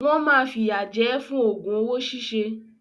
Wọ́n máa fìyà jẹ ẹ́ fún òògùn owó ṣíṣe.